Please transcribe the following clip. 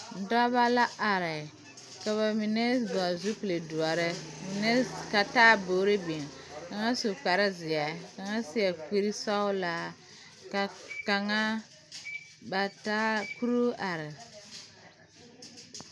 Dɔbɔ la are ka ba mine vɔgle zupil doɔre mine ka taaboore biŋ kaŋa su kparezeɛ kaŋa seɛ kurisɔglaa ka kaŋa ba taa kuruu are.